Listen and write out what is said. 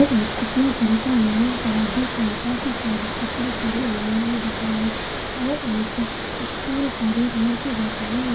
यह एक कपड़ों को दुकान है यहाँ पर आप देख रहे है काफी सारे कपड़े टंगे हुए है दुकान मे और एक स्टूल पर एक लड़की बैठी हुई--